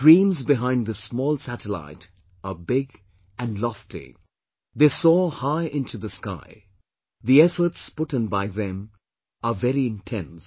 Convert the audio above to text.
The dreams behind this small satellite are big and lofty; they soar high into the sky; the efforts put in by them are very intense